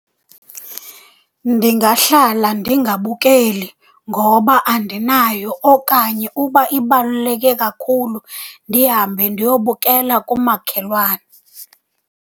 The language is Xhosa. Ndingahlala ndingabukeli ngoba andinayo, okanye uba ibaluleke kakhulu ndihambe ndiyobukela kumakhelwane.